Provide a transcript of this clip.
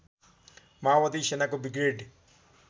माओवादी सेनाको ब्रिगेड